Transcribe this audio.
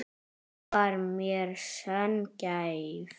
Hún var mér sönn gæfa.